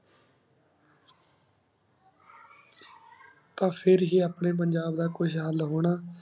ਤਾ ਫਿਰ ਹੇ ਅਪਨੀ ਪੰਜਾਬ ਦਾ ਕੁਛ ਹਾਲ ਹੋਣਾ